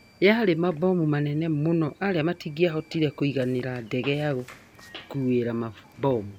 Yaari mabomu manene muno arĩa matĩangĩabotire kuiganira ndege yagũkuira mabomu